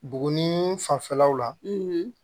Buguni fanfɛlaw la